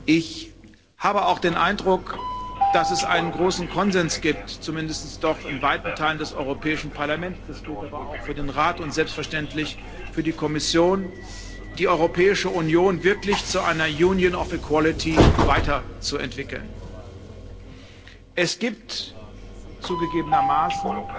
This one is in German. Ich habe auch den Eindruck, dass es einen großen Konsens gibt zumindest doch in weiten Teilen des Europäischen Parlaments, das gilt aber auch für den Rat und selbstverständlich für die Kommission die Europäische Union wirklich zu einer Union of Equality weiterzuentwickeln. Es gibt zugegebenermaßen